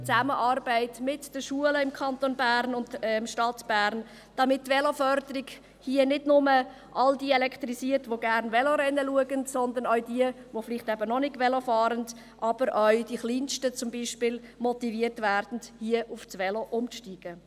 Die Zusammenarbeit mit den Schulen im Kanton Bern und in der Stadt Bern, damit die Veloförderung hier nicht nur all diejenigen elektrisiert, die gerne Velorennen schauen, sondern auch jene, die vielleicht noch nicht Velo fahren und hier beispielsweise auch die Kleinsten motiviert werden, auf das Velo umzusteigen.